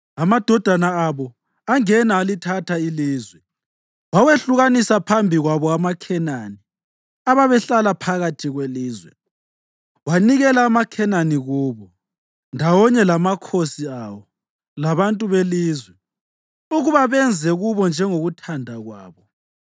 Amadodana abo angena alithatha ilizwe. Wawehlukanisa phambi kwabo amaKhenani, ababehlala phakathi kwelizwe; wanikela amaKhenani kubo, ndawonye lamakhosi awo labantu belizwe, ukuba benze kubo njengokuthanda kwabo.